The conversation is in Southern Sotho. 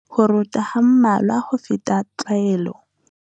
Ho rota ha mmalwa ho feta tlwaelo.